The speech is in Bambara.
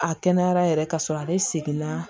A kɛnɛyara yɛrɛ ka sɔrɔ ale seginna